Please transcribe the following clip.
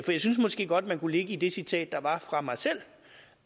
jeg synes måske godt man kunne lægge i det citat der var fra mig selv